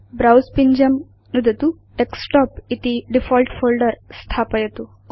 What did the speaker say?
browse पिञ्जं नुदतु desktop इति डिफॉल्ट् फोल्डर स्थापयतु